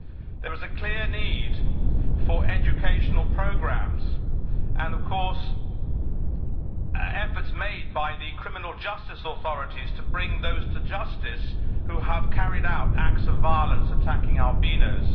There is a clear need for educational programs and of course for efforts by the criminal justice authorities to bring those to justice who have carried out acts of violence attacking albinos.